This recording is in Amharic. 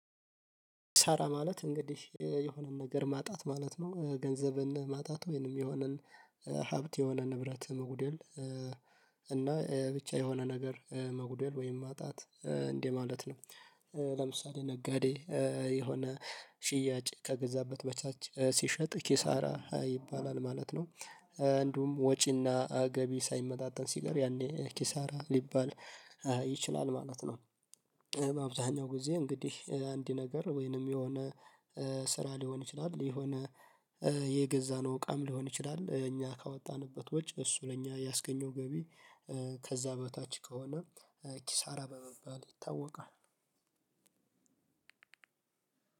ሳራ ማለት እንግዲህ የሆነን ነገር ማጣት ማለት ነው ገንዘብን ማጣት ወይንም የሆነን ሀብት የሆነ ንብረት መጉደል እና ብቻ የሆነ ነገር መጉደል ወይም ማጣት እንዴ ማለት ነው። ለምሳሌ ነጋዴ የሆነ ሽያጭ ከገዛበት በታች ሲሸጥ ኪሳራ ይባላል ማለት ነው። እንዲሁም ወጪና ገቢ ሳይመጣጠን ሲቀር ያኔ ኪሳራ ሊባል ይችላል ማለት ነው። አብዛሀኛው ጊዜ እንግዲህ አንድ ነገር ወይንም የሆነ ስራ ሊሆን ይችላል የሆነ የገዛነው እቃም ሊሆን ይችላል እኛ ካወጣንበት ወጪ እሱ ለኛ ያስገኘው ገቢ ከዛ በታች ከሆነ ኪሳራ በመባል ይታወቃል።